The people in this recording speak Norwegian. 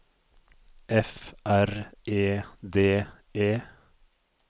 F R E D E